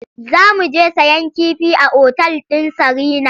Za mu je sayen kifi a otal ɗin Sarina.